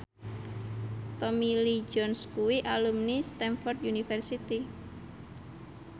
Tommy Lee Jones kuwi alumni Stamford University